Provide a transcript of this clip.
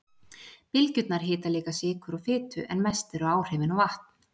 Bylgjurnar hita líka sykur og fitu en mest eru áhrifin á vatn.